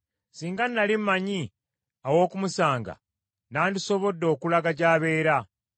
Singa nnali mmanyi aw’okumusanga nandisobodde okulaga gy’abeera!